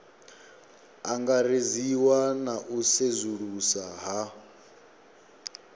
angaredziwa na u sedzulusa ha